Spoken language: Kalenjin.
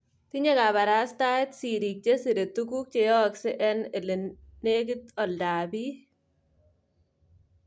Tinye kabarastaet siriik chesire tuguk cheyaaksei on elenenikiteen oldaab biik